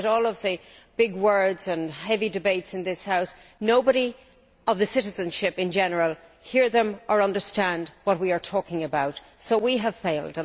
Despite all the big words and heavy debates in this House, none of the citizenship in general hears or understands what we are talking about so we have failed.